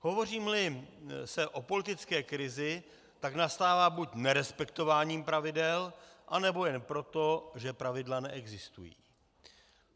Hovoříme-li o politické krizi, tak nastává buď nerespektováním pravidel, anebo jen proto, že pravidla neexistují.